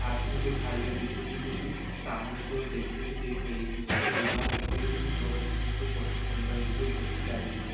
हाथ में दो थालिए दिख रही है जो कि सामने की ओर देखती हुई दिख रही है पीछे हमको दीवार दिख रही है जो कि बहुत अच्छी दिख रही है बहुत ही सुंदर दिख रही है बहुत ही प्यारी दिख रही है।